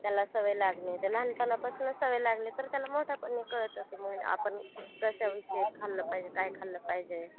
मग पुढे बारावी नंतर मग BA वगैरे पण करतात ba. B ed. बरेच लोक करता. आधी D Ed. वैगरे करत होते लोक सर बनण्यासाठी